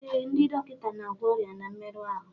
Ee, ndị dọkịta na-agwọ ọrịa na mmerụ ahụ